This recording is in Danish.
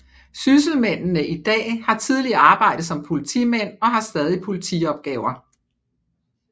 Sysselmændene i dag har tidligere arbejdet som politimænd og har stadig politiopgaver